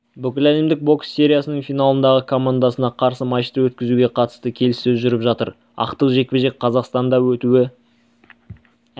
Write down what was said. бүкіләлемдік бокс сериясының финалындағы командасына қарсы матчты өткізуге қатысты келіссөз жүріп жатыр ақтық жекпе-жек қазақстанда өтуі